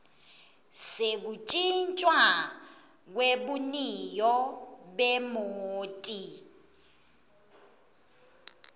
sekutjintjwa kwebuniyo bemoti